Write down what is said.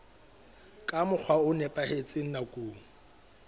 ka mokgwa o nepahetseng nakong